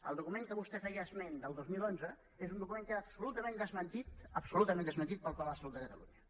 el document de què vostès feien esment del dos mil onze és un document absolutament desmentit absolutament desmentit pel pla de salut de catalunya